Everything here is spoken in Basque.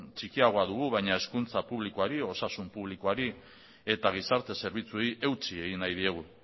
txikiagoa dugu baina hezkuntza publikoari osasun publikoari eta gizarte zerbitzuei eutsi egin nahi diegu